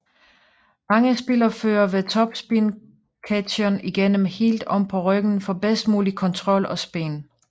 Mange spillere fører ved topspin ketsjeren igennem helt om på ryggen for bedst mulig kontrol og spin